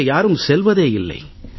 அங்கே யாரும் செல்வதே இல்லை